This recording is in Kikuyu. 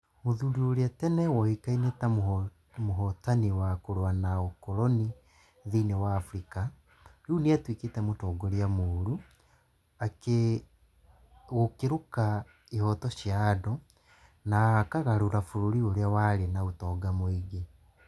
Mũthuri ũrĩa tene woĩkaine ta mũhotani wa kũrũa na ũkoroni thĩinĩ wa Afrika, rĩu nĩ atuĩkĩte mũtongoria mũũru, gũkĩruka ihooto cia andũ, na akaagarũra bũrũri ũrĩa warĩ na ũtonga mũingĩ